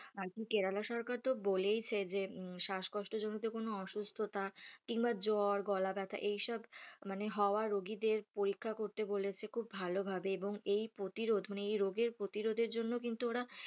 আরকি কেরালা সরকার তো বলেই ছে যে শ্বাসকষ্ট জনিত কোন অসুস্থতা কিংবা জ্বর, গলাব্যথা এইসব মানে হওয়া রোগীদের পরীক্ষা করতে বলেছে খুব ভালোভাবে এবং এই প্রতিরোধ মানে এই রোগের প্রতিরোধের জন্য কিন্তু ওরা,